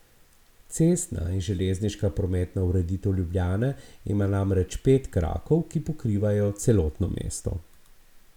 Cestna in železniška prometna ureditev Ljubljane ima namreč pet krakov, ki pokrivajo celotno mesto.